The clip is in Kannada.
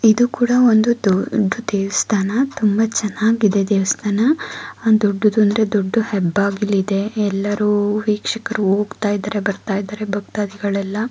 ಇದು ಕೂಡ ಒಂದು ದೊಡ್ಡು ದೇವಸ್ಥಾನ ತುಂಬಾ ಚೆನ್ನಾಗಿ ಇದೆ ದೇವಸ್ಥಾನ ಆ ದೊಡ್ಡದು ಅಂದ್ರೆ ದೊಡ್ಡು ಹೆಬ್ಬಾಗಿಲು ಇದೆ ಎಲ್ಲರೂ ವೀಕ್ಷಕರು ಹೋಗ್ತಾ ಇದ್ದರೆ ಬರ್ತಾ ಇದ್ದರೆ ಭಕ್ತಾದಿಗಳೆಲ್ಲಾ --